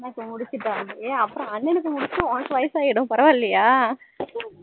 அண்ணா க்கு முடிச்சுட்டா hey அப்பறம் அண்ணனுக்கு முடிச்சா உனக்கு வயசு ஆயிடும் பரவாயில்லயா